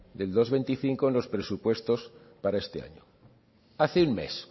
del dos coma veinticinco en los presupuestos para este año hace un mes